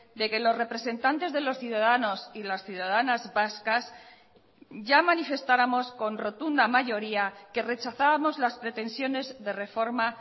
de que los representantes de los ciudadanos y las ciudadanas vascas ya manifestáramos con rotunda mayoría que rechazábamos las pretensiones de reforma